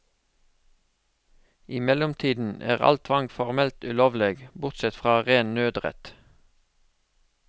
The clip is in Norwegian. I mellomtiden er all tvang formelt ulovlig, bortsett fra ren nødrett.